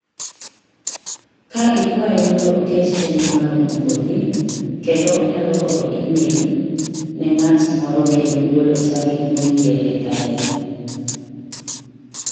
ka ikwaye mondo oket chenro ma romo kodi kendo onyalo oro e-mail ne ng�at moro kendo golo tarik moyier e kalenda